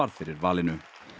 fyrir valinu